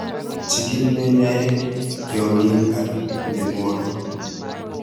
Chikil nyonyoek, tyongiik ak myanwookik